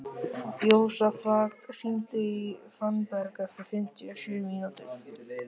Jósafat, hringdu í Fannberg eftir fimmtíu og sjö mínútur.